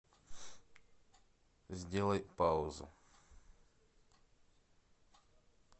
сделай паузу